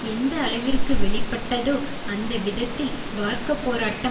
எந்த அளவிற்கு வெளிப்பட்டதோ அந்த விதத்தில் வார்க்கப்போராட்டம்